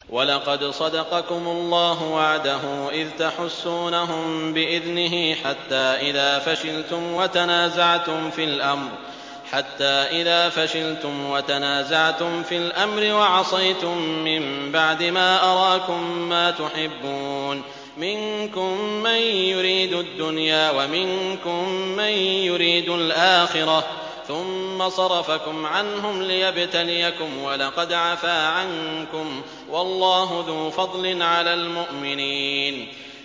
وَلَقَدْ صَدَقَكُمُ اللَّهُ وَعْدَهُ إِذْ تَحُسُّونَهُم بِإِذْنِهِ ۖ حَتَّىٰ إِذَا فَشِلْتُمْ وَتَنَازَعْتُمْ فِي الْأَمْرِ وَعَصَيْتُم مِّن بَعْدِ مَا أَرَاكُم مَّا تُحِبُّونَ ۚ مِنكُم مَّن يُرِيدُ الدُّنْيَا وَمِنكُم مَّن يُرِيدُ الْآخِرَةَ ۚ ثُمَّ صَرَفَكُمْ عَنْهُمْ لِيَبْتَلِيَكُمْ ۖ وَلَقَدْ عَفَا عَنكُمْ ۗ وَاللَّهُ ذُو فَضْلٍ عَلَى الْمُؤْمِنِينَ